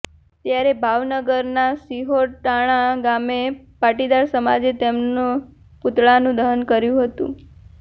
ત્યારે ભાવનગરના શિહોર ટાણા ગામે પાટીદાર સમાજે તેમના પૂતળાનું દહન કર્યુ હતુ